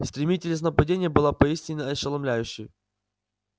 стремительность нападения была поистине ошеломляющей